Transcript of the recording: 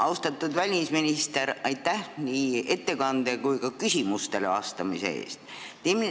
Austatud välisminister, aitäh nii ettekande kui ka küsimustele vastamise eest!